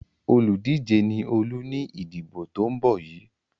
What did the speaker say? Olùdíje ni Olú ní ìdìbò tó ń bọ́ yìí.